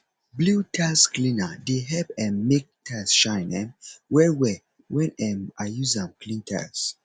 blew tiles cleaner dey help um mek tiles shine um well well when um i use am clean tiles